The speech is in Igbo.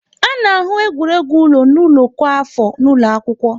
A na-ahụ egwuregwu ụlọ n'ụlọ kwa afọ n'ụlọ akwụkwọ.